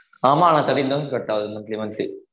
ஆமா thirteen thousand கட்டாவுது monthly monthly